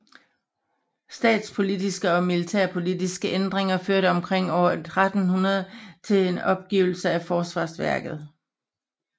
Statspolitiske og militærpolitiske ændringer førte omkring år 1300 til en opgivelse af forsvarsværket